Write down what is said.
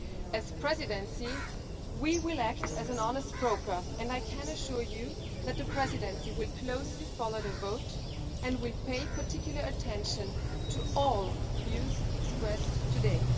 As the Presidency, we will act as an honest broker, and I can assure you that the Presidency will closely follow the vote and will pay particular attention to all views expressed today.